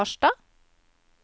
Harstad